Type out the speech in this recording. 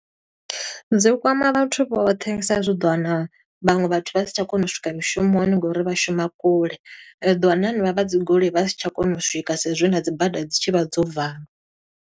Dzi kwama vhathu vhoṱhe, sa i zwi u ḓo wana, vhaṅwe vhathu vha si tsha kona u swika mushumoni ngo uri vha shuma kule. U ḓo wana na henevha vha dzi goloi vha si tsha kona u swika sa i zwi na dzi bada dzi tshi vha dzo vala.